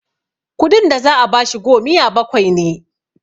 kudin da za a bashi gomiya bakwai ne